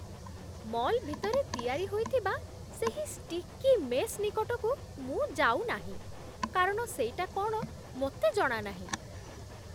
Mall ଭିତରେ ତିଆରି ହୋଇଥିବା ସେହି ଷ୍ଟିକି ମେସ୍ ନିକଟକୁ ମୁଁ ଯାଉନାହିଁ, କାରଣ ସେଇଟା କ'ଣ ମୋତେ ଜଣାନାହିଁ।